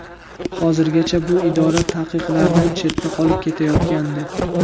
Hozirgacha bu idora tanqidlardan chetda qolib kelayotgandi.